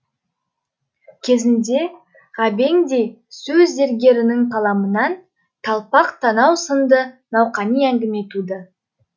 кезінде ғабеңдей сөз зергерінің қаламынан талпақ танау сынды науқани әңгіме туды